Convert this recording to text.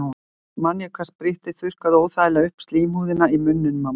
Samt man ég hvað sprittið þurrkaði óþægilega upp slímhúðina í munninum á manni.